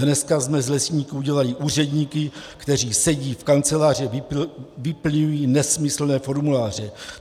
Dneska jsme z lesníků udělali úředníky, kteří sedí v kanceláři, vyplňují nesmyslné formuláře.